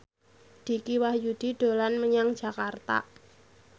Dicky Wahyudi dolan menyang Jakarta